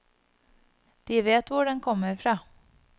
De vet hvor den kommer fra.